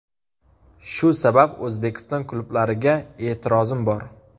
Shu sabab O‘zbekiston klublariga e’tirozim bor.